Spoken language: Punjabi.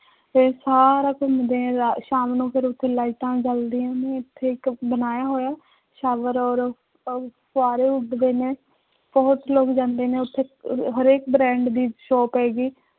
ਤੇ ਸਾਰਾ ਘੁੰਮਦੇ ਹੈ, ਰਾ ਸ਼ਾਮ ਨੂੰ ਫਿਰ ਉੱਥੇ ਲਾਇਟਾਂ ਜਲਦੀਆਂ ਨੇ ਉੱਥੇ ਇੱਕ ਬਣਾਇਆ ਹੋਇਆ ਔਰ ਫ ਫੂਆਰੇ ਉੱਡਦੇ ਨੇ, ਬਹੁਤ ਲੋਗ ਜਾਂਦੇ ਨੇ ਉੱਥੇ ਅਹ ਹਰੇਕ brand ਦੀ shop ਹੈਗੀ